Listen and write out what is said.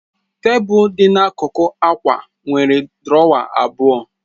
Tebụl dị n'akụkụ akwa nwere drawer abụọ.